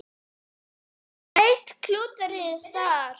Enn eitt klúðrið þar!